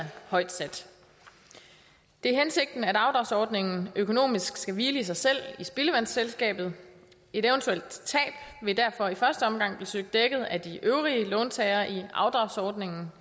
højt sat det er hensigten at afdragsordningen økonomisk skal hvile i sig selv i spildevandsselskabet et eventuelt tab vil derfor i første omgang blive søgt dækket af de øvrige låntagere i afdragsordningen